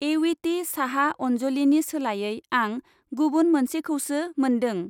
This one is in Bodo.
एविटि साहा अन्जलिनि सोलायै आं गुबुन मोनसेखौसो मोनदों।